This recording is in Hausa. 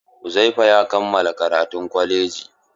Uzaifa ya kammala karatun kwalaji.